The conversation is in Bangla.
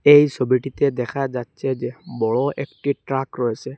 এই ছবিটিতে দেখা যাচ্ছে যে বড় একটি ট্রাক রয়েছে।